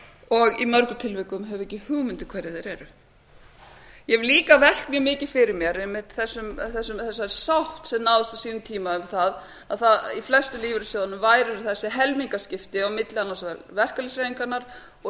og í mörgum tilvikum höfum við ekki hugmynd um hverjir þeir eru ég hef líka velt mjög mikið fyrir mér einmitt þessari sátt sem náðist á sínum tíma um það að í flestum lífeyrissjóðunum væru þessi helmingaskipti á milli annars vegar verkalýðshreyfingarinnar og